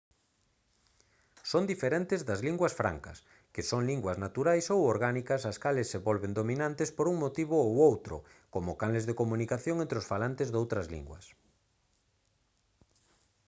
son diferentes das linguas francas que son linguas naturais ou orgánicas as cales se volven dominantes por un motivo ou outro como canles de comunicación entre os falantes doutras linguas